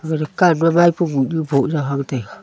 dukan ma maipo yoh nyu poh yao hang taega.